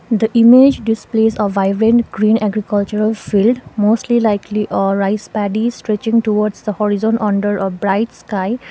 the image displays a vibrant green agriculture field mostly likely a rice paddy stretching towards the horizon under a bright sky.